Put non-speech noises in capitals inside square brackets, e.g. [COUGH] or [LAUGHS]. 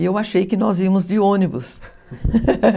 E eu achei que nós íamos de ônibus. [LAUGHS]